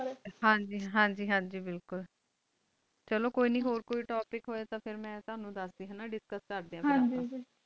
ਹਨ ਜੀ ਹਨ ਜੀ ਬਿਲਕੁਲ ਚਲੋ ਕੋਈ ਹੋਰ topic ਤਾ ਮਾ ਟੋਨੋ ਦਸ ਦਯਾ ਦੀ